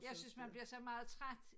Jeg synes man bliver så meget træt